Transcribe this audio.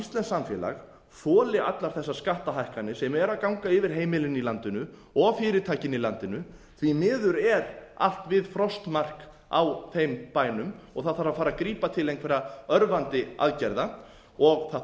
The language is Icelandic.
samfélag þoli allar þessar skattahækkanir sem eru að ganga yfir heimilin í landinu og fyrirtækin í landinu því miður er allt við frostmark á þeim bænum og það þarf að fara að grípa til einhverra örvandi aðgerða og það